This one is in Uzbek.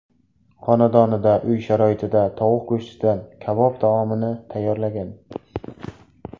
xonadonida uy sharoitida tovuq go‘shtidan kabob taomini tayyorlagan.